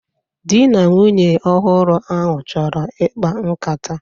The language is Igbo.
Di na nwunye ọhụrụ ahụ chọrọ ikpa nkata